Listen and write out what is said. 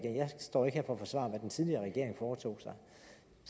står ikke her for at forsvare hvad den tidligere regering foretog sig